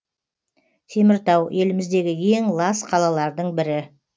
теміртау еліміздегі ең лас қалалардың бірі